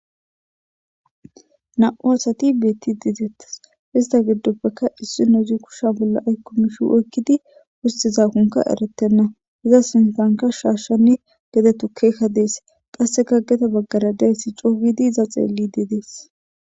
Namu'u assati betidi dettesi. Hessa gidoppeka issinozi kusha bolla oyikidi besiza bayikka erretena. Iza sinithanika shashane sine tukeyi deyesi.